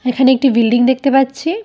এখানে একটি বিল্ডিং দেখতে পাচ্ছি।